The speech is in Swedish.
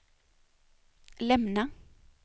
lämna